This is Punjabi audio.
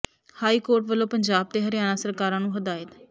ਹਾਈ ਕੋਰਟ ਵੱਲੋਂ ਪੰਜਾਬ ਤੇ ਹਰਿਆਣਾ ਸਰਕਾਰਾਂ ਨੂੰ ਹਦਾਇਤ